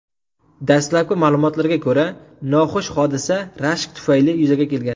Dastlabki ma’lumotlarga ko‘ra, noxush hodisa rashk tufayli yuzaga kelgan.